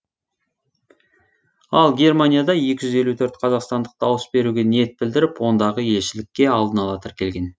ал германияда екі жүз елу төрт қазақстандық дауыс беруге ниет білдіріп ондағы елшілікке алдын ала тіркелген